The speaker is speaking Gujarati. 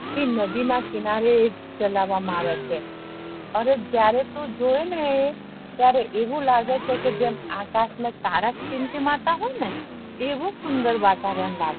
કે નદી ના કિનારે એ જેલવા મા આવે છે અને જયારે તું જોવે ને એ ત્યારે આવું લાગે છે કે જેમ આકાશ મા તારા ટીમ-તિમાવ તા હોય આવું સુંદર વાતવરણ લાગે